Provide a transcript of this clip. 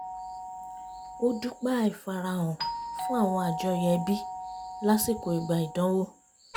ó dúpẹ́ àìfarahàn fún àwọn àjọyọ̀ ẹbí lásìkò ìgbà ìdánwò